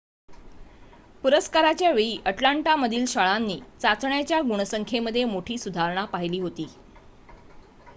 पुरस्काराच्या वेळी अटलांटामधील शाळांनी चाचण्यांच्या गुणसंख्येमध्ये मोठी सुधारणा पहिली होती